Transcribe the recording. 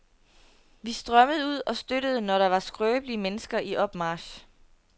Vi strømmede ud og støttede, når der var skrøbelige mennesker i opmarch.